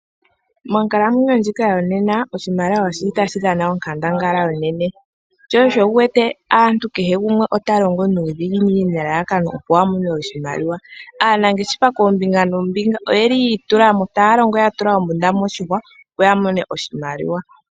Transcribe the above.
Monkalamwenyo ndjika yo nena oshimaliwa oshili tashi dhana onkandangala onene, shosho wuwete kehe gumwe otalongo nuudhinginini nelalakano opo amone oshimaliwa. Aanangeshefa kombinga noombinga oye li yiitulamo taalongo yatula ombunda moshihwa opo ya mone oshimaliwa.